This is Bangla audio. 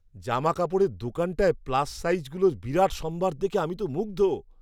জামাকাপড়ের দোকানটায় প্লাস সাইজগুলোর বিরাট সম্ভার দেখে আমি তো মুগ্ধ!